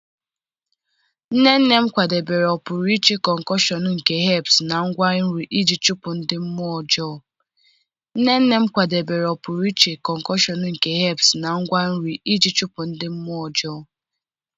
Nne nne m kwadebere a pụrụ iche concoction nke herbs na ngwa nri iji chụpụ ndị mmụọ ọjọọ.